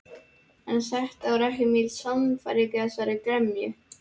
En það var ekki mikil sannfæring í þessari gremju.